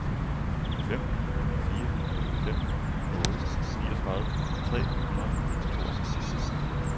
fem fire fem otte niogtredive tre hundrede og tooghalvtreds